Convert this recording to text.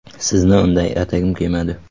Sizni unday atagim kelmadi.